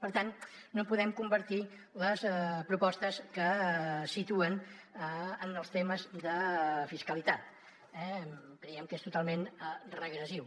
per tant no podem compartir les propostes que situen en els temes de fiscalitat eh creiem que és totalment regressiu